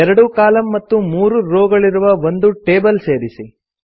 2 column ಮತ್ತು 3 row ಗಳಿರುವ ಒಂದು ಟೇಬಲ್ ಸೇರಿಸಿ